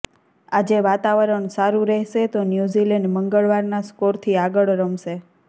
આજે વાતાવરણ સારું રહેશે તો ન્યૂઝીલેન્ડ મંગળવારના સ્કોરથી આગળ રમશે